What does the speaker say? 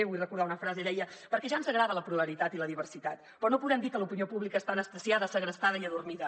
vull recordar una frase deia perquè ja ens agrada la pluralitat i la diversitat però no podem dir que l’opinió pública està anestesiada segrestada i adormida